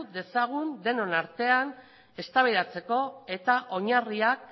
dezagun denon artean eztabaidatzeko eta oinarriak